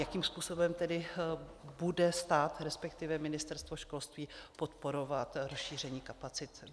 Jakým způsobem tedy bude stát, respektive Ministerstvo školství, podporovat rozšíření kapacit?